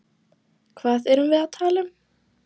Hvað erum við að tala um?